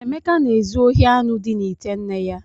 Emeka na-ezu ohi anụ dị n’ite nne ya.